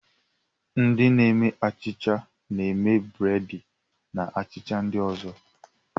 Ndị na-eme achịcha na-eme breedi na achịcha ndị ozo.